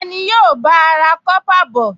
Ta ni yóò bá a ra kọ́pà bọ̀?